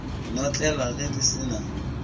notlelwa ge di se na